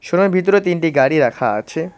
শোরুমের ভিতরে তিনটি গাড়ি রাখা আছে।